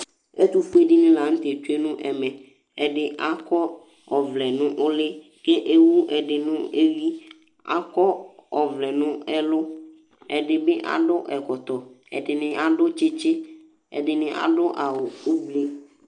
ɛtufue dini la n'tɛ dzué nu ɛvɛ, ɛdi akɔ ɔvlɛ nu úli k'ewu ɛdi n'éví akɔ ɛdi n'ɛlu, ɛdi bi adu ɛkɔtɔ ,ɛdini adu tsitsí, ɛdini adu awù ũblú